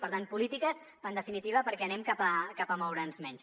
per tant polítiques en definitiva perquè anem cap a moure’ns menys